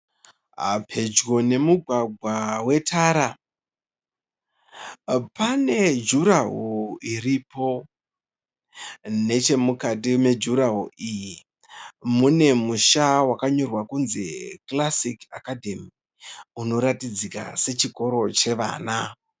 Pedyo nemugwagwa wetara. Pane juraho iripo. Nechemukati mejuraho iyi mune musha wakanyorwa kunzi Classic Academy unoratidzika sechikoro chevana.